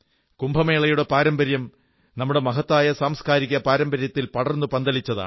കുംഭമേളയുടെ പാരമ്പര്യം നമ്മുടെ മഹത്തായ സാംസ്കാരിക പാരമ്പര്യത്തിൽ പടർന്നു പന്തലിച്ചതാണ്